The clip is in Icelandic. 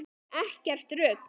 Ekkert rugl.